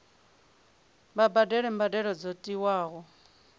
vha badele mbadelo dzo tiwaho